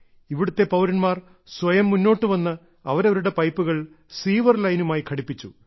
ഇവിടത്തെ പൌരന്മാർ സ്വയം മുന്നോട്ടു വന്ന് അവരവരുടെ പൈപ്പുകൾ സീവർ ലൈനുമായി ഘടിപ്പിച്ചു